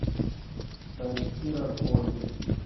старики разбойники